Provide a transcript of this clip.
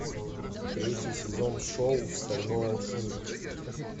третий сезон шоу стальной алхимик